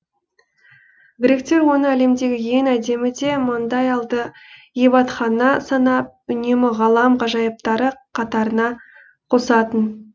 гректер оны әлемдегі ең әдемі де маңдай алды ғибадатхана санап үнемі ғалам ғажайыптары қатарына қосатын